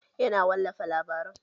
Yana wallafa labaran